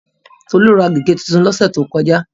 Tolú ra gègé tuntun lọ́sẹ̀ tó kọjá.